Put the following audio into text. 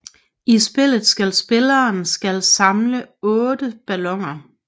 I spillet skal spilleren skal samle 8 balloner